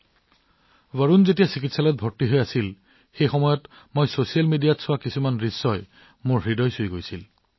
যেতিয়া বৰুণ চিকিৎসালয়ত আছিল মই ছচিয়েল মিডিয়াত কিবা এটা দেখিছিলো যি মোৰ হৃদয় স্পৰ্শ কৰিছিল